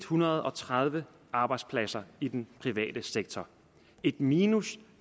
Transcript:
hundrede og tredive arbejdspladser i den private sektor et minus